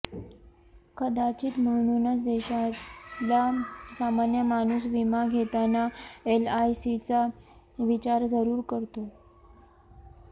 कदाचित म्हणूनच देशातला सामान्य माणूस विमा घेताना एलआयसीचा विचार जरूर करतो